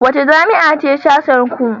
Wace jami'a ce sashenku?